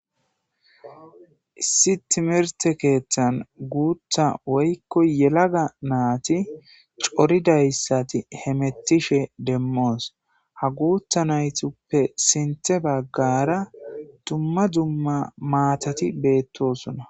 issi timerte keeththan guutha woykko yelaga naati coridayssati hemettishe demmoos ha guutha naytuppe sinthe baggara dumma dumma maatati beettosuna